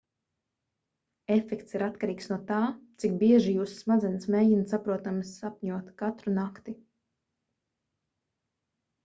efekts ir atkarīgs no tā cik bieži jūsu smadzenes mēģina saprotami sapņot katru nakti